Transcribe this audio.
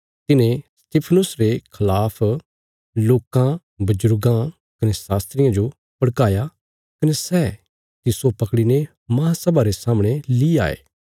तिन्हें स्तिफनुस रे खलाफ लोकां बजुर्गां कने शास्त्रियां जो भड़काया कने सै तिस्सो पकड़ीने महासभा रे सामणे ली आये